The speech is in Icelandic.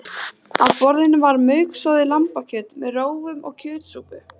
Á borðum var mauksoðið lambakjöt með rófum og kjötsúpu